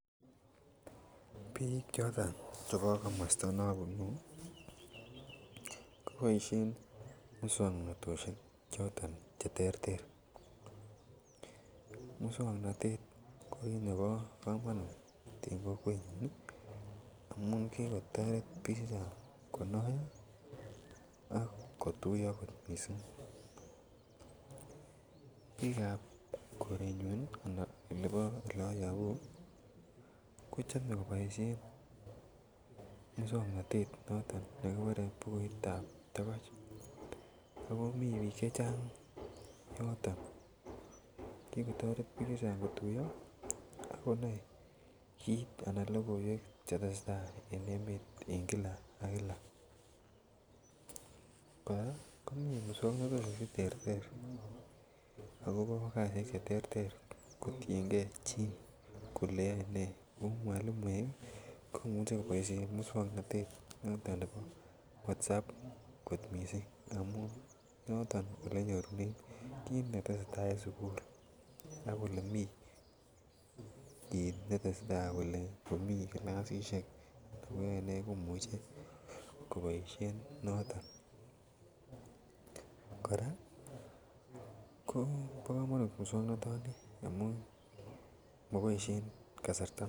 Bik choton Che bo komosta ne abunu koboisien moswoknatosiek choto Che terter moswoknatet ko kit nebo komonut en kokwet amun ki kotoret bik chechang konoyoo ak kotuyo mising bik Chebo korenyun ii anan kokwet ne ayobu ko chome koboisien muswoknotet noto nekikuren bukuitab togoch ak komii bik chechang yoton ak ki kotoret bik chechang kotuiyo ak konai logoiwek Che tesetai en emet en kila ak kila kora komii moswoknatosiek Che terter akobo kasisyek Che terter ako tienge chi kole yoe ne kou mwalimuek ko Imuch ko boisien moswoknatet noton bo WhatsApp mising amun olenyorunen kit ne tesetai en sukul ak tuguk Cheu tesetai cheu kilasisiek mwalimuek ko Imuch ko boisien noton kora kobo komonut moswoknatani amun moboisien kasarta neo